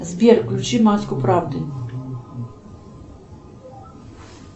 сбер включи маску правды